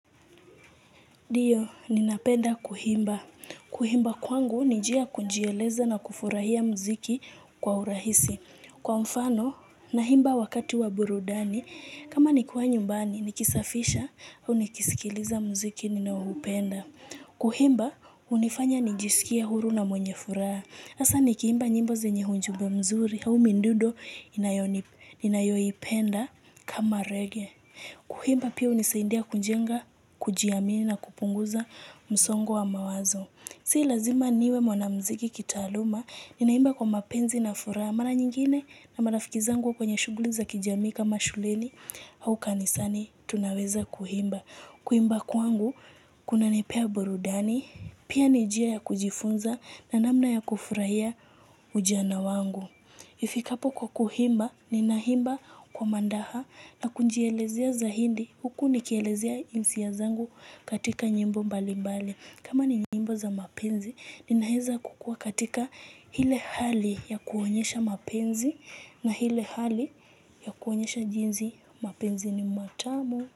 Ndio, ninapenda kuhimba. Kuhimba kwangu, ni njia ya kujieleza na kufurahia muziki kwa urahisi. Kwa mfano, nahimba wakati wa burudani, kama nikiwa nyumbani, nikisafisha, au nikisikiliza muziki, ninaohupenda. Kuhimba, hunifanya nijisikie huru na mwenye furaha. Hasa, nikiimba nyimbo zenye hunjumbe mzuri, hau mindudo, ninayoipenda kama reggae. Kuhimba pia hunisaindia kunjenga, kujiamini na kupunguza msongo wa mawazo. Si lazima niwe mwanamuziki kitaaluma, ninaimba kwa mapenzi na furaha. Mara nyingine na marafiki zangu kwenye shughuli za kijamii kama shuleni au kanisani, tunaweza kuhimba. Kuimba kwangu, kunanipea burudani, pia ni jia ya kujifunza na namna ya kufurahia ujana wangu. Ifikapo kwa kuhimba, ninahimba kwa mandaha na kunjielezea zahindi, huku nikielezea hisia zangu katika nyimbo mbali mbali. Kama ni nyimbo za mapenzi, ninaeza kukuwa katika hile hali ya kuonyesha mapenzi na hile hali ya kuonyesha jinsi mapenzi ni matamu.